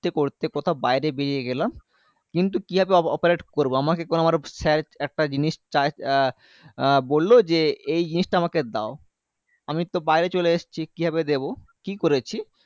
করতে করতে কোথাও বাইরে বেরিয়ে গেলাম কিন্তু কিভাবে opa operate করবো আমাকে কোনো আমার sir একটা জিনিস চায় এ আহ বললো যে এই জিনিসটা আমাকে দাও আমি তো বাইরে চলে এসছি কিভাবে দেব কি করেছি